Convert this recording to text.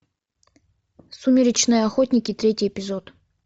сумеречные охотники третий эпизод